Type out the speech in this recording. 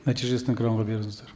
нәтижесін экранға беріңіздер